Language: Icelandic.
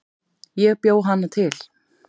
Ég bjó hana til